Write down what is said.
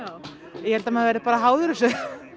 ég held að maður verði bara háður þessu